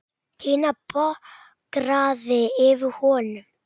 Tinna bograði yfir honum.